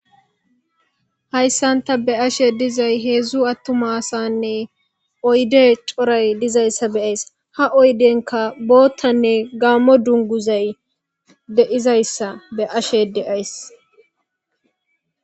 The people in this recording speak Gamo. Hayssanta be ashe dizay heedzdzu attumasanne oyde coray dizayssa beyays ha oydenka boottanne gaammo dunguzay deizayssa be ashe deays.